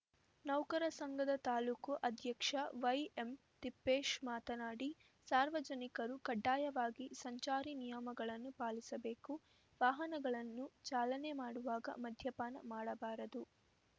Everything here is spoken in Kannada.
ನೌಕರ ಸಂಘದ ತಾಲೂಕು ಅಧ್ಯಕ್ಷ ವೈಎಂ ತಿಪ್ಪೇಶ್‌ ಮಾತನಾಡಿ ಸಾರ್ವಜನಿಕರು ಕಡ್ಡಾಯವಾಗಿ ಸಂಚಾರಿ ನಿಯಮಗಳನ್ನು ಪಾಲಿಸಬೇಕು ವಾಹನಗಳನ್ನು ಚಾಲನೆ ಮಾಡುವಾಗ ಮದ್ಯಪಾನ ಮಾಡಬಾರದು